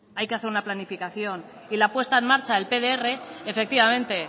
hay que hacer una planificación y la puesta en marcha del pdr efectivamente